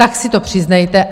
Tak si to přiznejte.